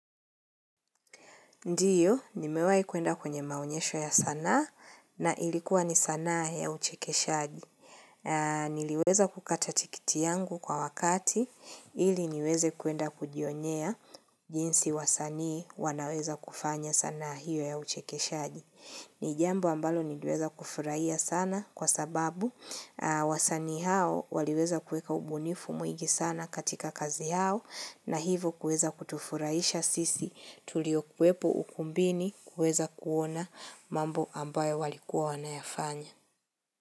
Ndiyo, nimewai kuenda kwenye maonyesho ya sanaa na ilikuwa ni sanaa ya uchekeshaji. Niliweza kukata tikiti yangu kwa wakati ili niweze kuenda kujionyea jinsi wasanii wanaweza kufanya sana hiyo ya uchekeshaji. Ni jambi ambalo niliweza kufurahia sana kwa sababu wasani hao waliweza kueka ubunifu mwingi sana katika kazi hao na hivo kuweza kutufurahisha sisi tulio kuwepo ukumbini kueza kuona mambo ambayo walikuwa wanayafanya.